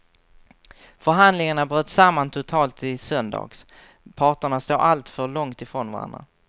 Förhandlingarna bröt samman totalt i söndags, parterna står alltför långt ifrån varandra.